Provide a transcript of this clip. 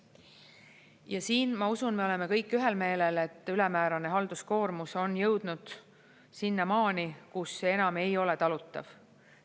Ja siin, ma usun, me oleme kõik ühel meelel, et ülemäärane halduskoormus on jõudnud sinnamaani, kus see enam ei ole talutav.